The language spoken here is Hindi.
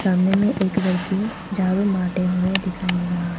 सामने में एक लड़की झाड़ू मारते हुए दिखाई मिल रहा है।